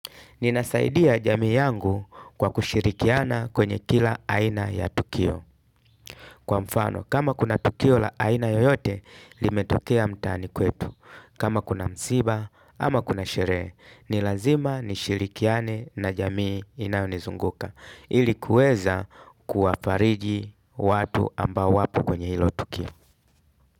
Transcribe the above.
Ninasaidia jamii yangu kwa kushirikiana kwenye kila aina ya tukio. Kwa mfano, kama kuna tukio la aina yoyote limetokea mtaani kwetu kama kuna msiba, ama kuna sherehe, ni lazima nishirikiane na jamii inayonizunguka ili kuweza kuwafariji watu ambao wapo kwenye hilo tukio.